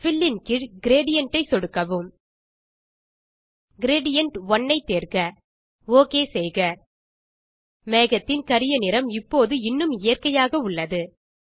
bill ன் கீழ் gradient ஐ சொடுக்கவும் கிரேடியன்ட்1 ஐ தேர்க ஓகே செய்க மேகத்தின் கரிய நிறம் இப்போது இன்னும் இயற்கையாக உள்ளது